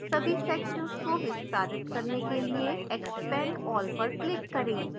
सभी sections को विस्तारित करने के लिए expand all पर click करें